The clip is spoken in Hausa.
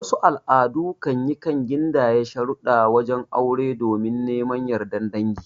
Wasu al'adu kanyi kan gindaya sharudda wajen aure domin neman yardar dangi